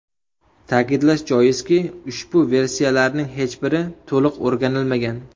Ta’kidlash joizki, ushbu versiyalarning hech biri to‘liq o‘rganilmagan.